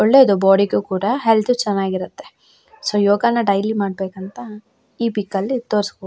ಒಳ್ಳೆದು ಬೋಡಿ ಗು ಕೂಡ ಹೆಲ್ತ್ ಚೆನ್ನಾಗಿರುತ್ತೆ ಸೊ ಯೋಗಾನ ಡೈಲಿ ಮಾಡ್ಬೇಕಂತ ಈ ಪಿಕ್ಕಲ್ಲಿ ತೋರಿಸ್ಕೊ --